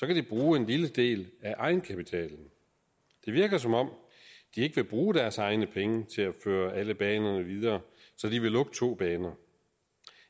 de bruge en lille del af egenkapitalen det virker som om de ikke vil bruge deres egne penge til at føre alle banerne videre så de vil lukke to baner